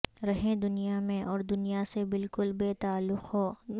رہیں دنیا میں اور دنیا سے بالکل بے تعلق ہو